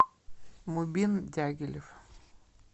мубин дягилев